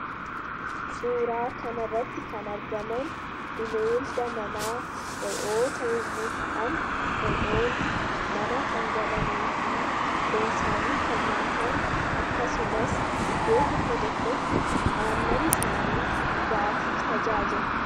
Suuraa kanarratti kan argaman bineelda manaa Re'oota yommuu ta'an, Re'oonni mana kan galanii fi foon isaanii kan nyaatamu akkasumas iddoo tokko tokkotti aannan isaanii dhugaatiif tajaajila.